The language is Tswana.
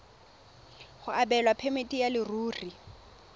go abelwa phemiti ya leruri